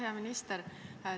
Hea minister!